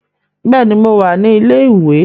Bẹ́ẹ̀ ni, mo wà ní ilé-ìwé